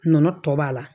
Nɔnɔ tɔ b'a la